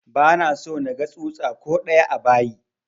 Ba na so naga tsutsa ko ɗaya a bayi!